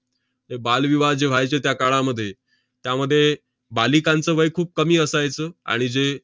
त~ बालविवाह जे व्हायचे त्या काळामध्ये, त्यामध्ये बालिकांचं वय खूप कमी असायचं. आणि जे